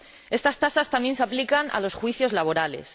Estas tasas también se aplican a los juicios laborales.